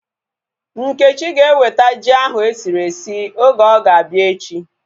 Nkechi ga eweta ji ahu esiri esi oge ọ ga-abịa echi